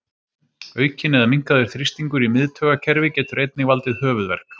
Aukinn eða minnkaður þrýstingur í miðtaugakerfi getur einnig valdið höfuðverk.